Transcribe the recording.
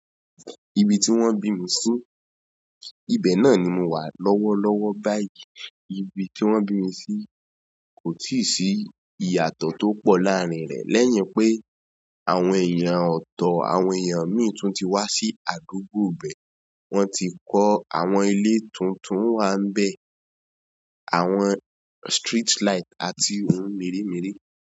Ibi tí wón bí mi si, ibi náà ni mo wà lọ́wọ́ lọ́wọ́ báyìí. Ibi tí wón bí mi sí kò tíì sí ìyàtọ̀ tó pọ̀ láàárín rẹ̀ lẹ́yìn pé àwọn èèyàn ọ̀tọ̀, àwọn èèyàn mìíràn tún ti wá sí àdúgbò bẹ. Wọ́n ti kọ àwọn ilé tuntun wá ń bẹ, àwọn street light àti ohun mèremère.